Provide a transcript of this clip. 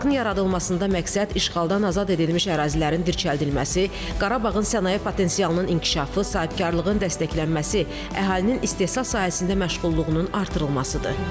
Parkın yaradılmasında məqsəd işğaldan azad edilmiş ərazilərin dirçəldilməsi, Qarabağın sənaye potensialının inkişafı, sahibkarlığın dəstəklənməsi, əhalinin istehsal sahəsində məşğulluğunun artırılmasıdır.